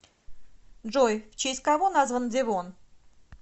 джой в честь кого назван девон